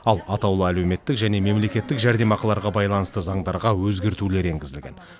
ал атаулы әлеуметтік және мемлекеттік жәрдемақыларға байланысты заңдарға өзгертулер енгізілген